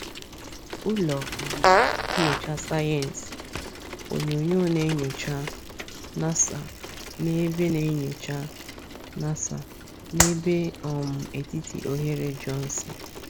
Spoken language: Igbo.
Ụlọ um nyocha Sayensi onyonyo na nyocha, NASA-N'ebe na nyocha, NASA-N'ebe um etiti oghere Johnson.